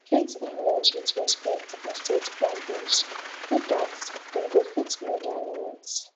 treat inlaws with respect and set boundaries do dat dem go fit know their limit